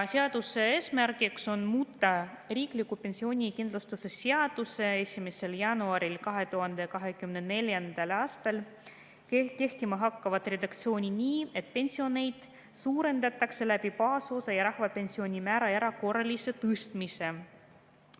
Seaduse eesmärk on muuta riikliku pensionikindlustuse seaduse 1. jaanuaril 2024. aastal kehtima hakkavat redaktsiooni nii, et pensione suurendatakse baasosa ja rahvapensioni määra erakorralise tõstmisega.